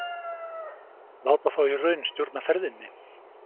Láta þá í raun stjórna ferðinni?